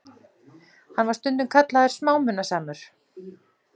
Hann var stundum kallaður smámunasamur.